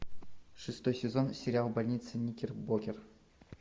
шестой сезон сериал больница никербокер